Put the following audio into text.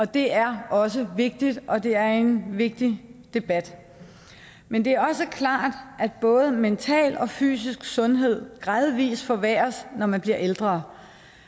det er også vigtigt og det er en vigtig debat men det er også klart at både mental og fysisk sundhed gradvis forværres når man bliver ældre